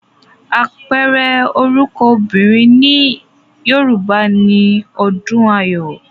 Àpẹẹrẹ orúkọ obìnrin nílẹ̀ Yorùbá ni Ọdùnayọ̀